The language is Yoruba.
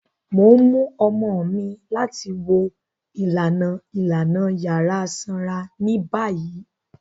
Mo n mu ọmọ mi lati wo ilana ilana yara sanra ni bayi.